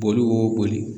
Boli b'o boli